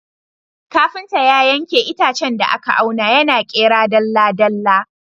Kafinta ya yanke itacen da aka auna, yana ƙera dalla-dalla.